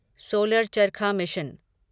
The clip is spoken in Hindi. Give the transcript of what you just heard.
सोलर चरखा मिशन